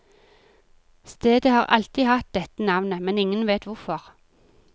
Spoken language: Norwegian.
Stedet har alltid hatt dette navnet, men ingen vet hvorfor.